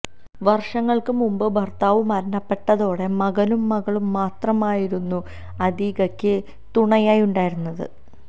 വര്ഷങ്ങള്ക്ക് മുന്പ് ഭര്ത്താവ് മരണപ്പെട്ടതോടെ മകനും മകളും മാത്രമായിരുന്നു അതീകക്ക് തുണയായി ഉണ്ടായിരുന്നു